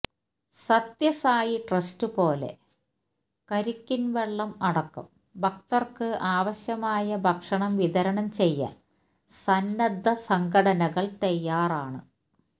Sathya Sai trust പോലെ കരിക്കിന്വെള്ളം അടക്കം ഭക്തര്ക്ക് ആവശ്യമായ ഭക്ഷണം വിതരണം ചെയ്യാന് സന്നദ്ധ സംഘടനകള് തയ്യാറാണ്